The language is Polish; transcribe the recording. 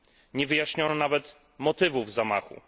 Nie wyjaśniono nawet motywów zamachów.